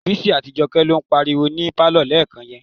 Bísí àti Jọkẹ́ ló ń pariwo ní pálọ̀ lẹ́ẹ̀kan yẹn.